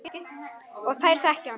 Og þær þekki hann.